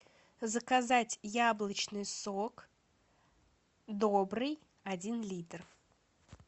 заказать яблочный сок добрый один литр